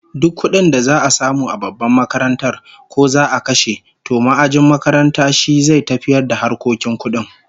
Duk kudin da za'a samu a babbar makarantar, ko za'a kashe, to ma'ajin makaranta shi zai tafiyar da harkokin kudin